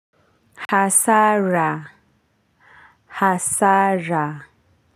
Hasara hasara.